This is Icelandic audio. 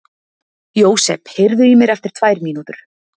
Jósep, heyrðu í mér eftir tvær mínútur.